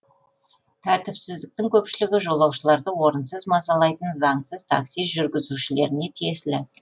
тәртіпсіздіктің көпшілігі жолаушыларды орынсыз мазалайтын заңсыз такси жүргізушілеріне тиесілі